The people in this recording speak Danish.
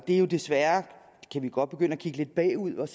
vi jo desværre godt begynde at kigge lidt bagud og